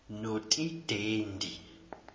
notidendi